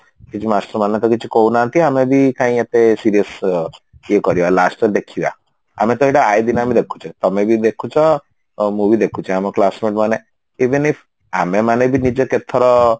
କିଛି master ମାନେ ତ କିଛି କହୁନାହାନ୍ତି ଆମେ ବି କାଇଁ ଏତେ serious ଅଛୁ ଇଏ କରିବା last ରେ ଦେଖିବା ଆମେ ତ ଏଇଟା ଆଇଲା ଦିନରୁ ଦେଖୁଛେ ତମେ ବି ଦେଖୁଛ ମୁଁ ବି ଦେଖୁଛି ଆମ classmate ମାନେ even if ଆମେ ମାନେ ବି ନିଜେ କେତେଥର